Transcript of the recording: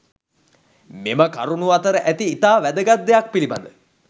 මෙම කරුණු අතර ඇති ඉතා වැදගත් දෙයක් පිළිබඳ